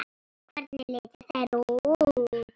Hvernig litu þeir út?